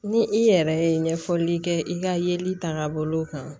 Ni i yɛrɛ ye ɲɛfɔli kɛ i ka yeli tagabolo kan